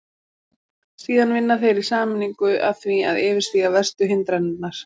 Síðan vinna þeir í sameiningu að því að yfirstíga verstu hindranirnar.